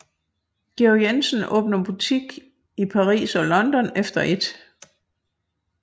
Georg Jensen åbner butik i Paris og London efter 1